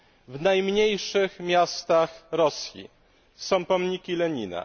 W najmniejszych miastach Rosji są pomniki Lenina.